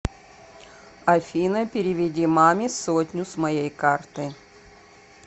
афина переведи маме сотню с моей карты